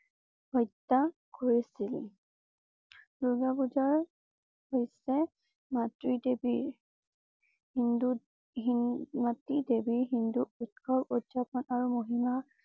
হত্যা কৰিছিল। দুৰ্গা পূজাৰ হৈছে মাতৃ দেৱী হিন্দুতহিনমাটি দেৱী হিন্দু উৎসব উদযাপন আৰু মহিমা